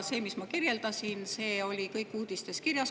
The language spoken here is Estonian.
See, mida ma kirjeldasin, oli kõik uudistes kirjas.